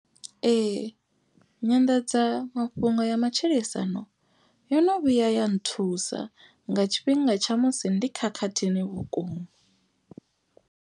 Ee nyanḓadza mafhungo ya matshilisano yo no vhuya ya nthusa. Nga tshifhinga tsha musi ndi khakhathini vhukuma.